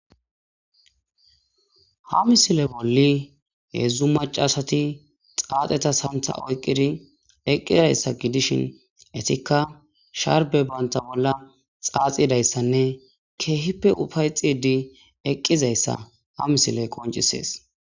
Ha missile bolli hezu maca assathi xaxetha sanththa oyqidi eqiryassa gidishin eethikka sharbe bantha bolla xaxidayssane kehippe uffayxid eqizayssa ha missile qoncisees.